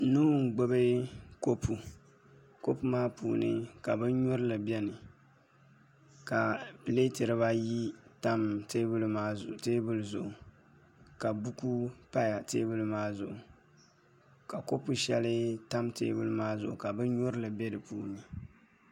Nuu n gbubi kopu kopu maa puuni ka binnyurili biɛni ka pileeti dibayi tam teebuli zuɣu ka buku dibayi pa teebuli maa zuɣu ka kopu shɛli tam teebuli maa zuɣu ka binnyurili bɛ di puuni